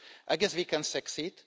I guess we can succeed.